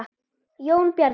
Jón Bjarni.